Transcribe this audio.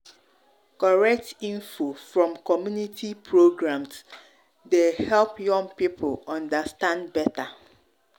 correct info from community programs dey programs dey help young people understand better.